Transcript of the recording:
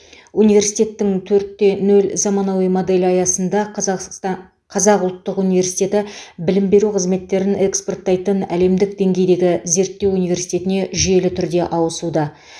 университеттің төртте нөл заманауи моделі аясында қазақсста қазақ ұлттық университеті білім беру қызметтерін экспорттайтын әлемдік деңгейдегі зерттеу университетіне жүйелі түрде ауысуда